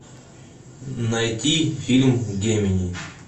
найти фильм гемини